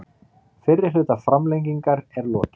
Fyrri hluta framlengingar er lokið